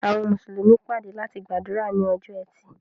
Àwọn Mùsùlùmí pàdé láti gbàdúrà ni ọjọ́ ẹti.